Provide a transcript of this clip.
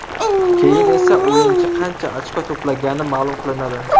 Keyin esa o‘yinchi qancha ochko to‘plagani ma’lum qilinadi.